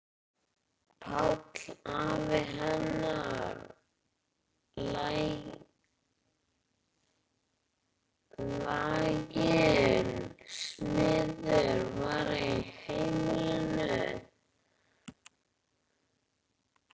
Páll afi hennar, laginn smiður, var í heimilinu.